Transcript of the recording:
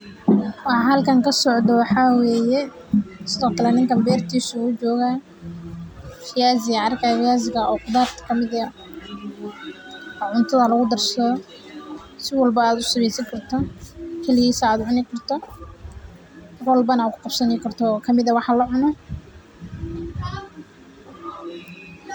Waxaa halkan kasocdo waxaa weye viazi ayan arki haya oo qudharta kamiid ah, si walbo aad u isticmali karto oo cutaada kudarsan karto.